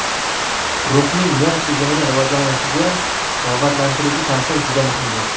Ruxning nerv tizimini rivojlanishiga rag‘batlantiruvchi ta’siri juda muhimdir.